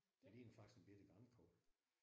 Det ligner faktisk en bette grankogle